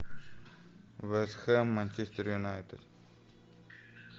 вест хэм манчестер юнайтед